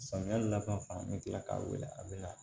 Samiya laban fan bɛ kila k'a wele a bɛ na